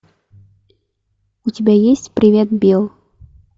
у тебя есть привет билл